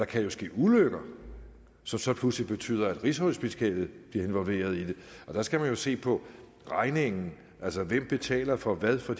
kan ske ulykker som så pludselig betyder at rigshospitalet bliver involveret i det og der skal man jo se på regningen altså hvem der betaler for hvad for